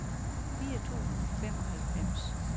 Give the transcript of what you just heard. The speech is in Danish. fire tusind og femoghalvfems